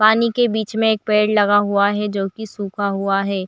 पानी के बिच मे एक पेड़ लगा हुआ है जो की सूखा हुआ है।